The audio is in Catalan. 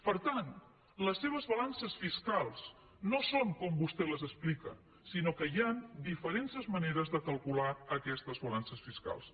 per tant les seves balances fiscals no són com vostè les explica sinó que hi han diferents maneres de calcular aquestes balances fiscals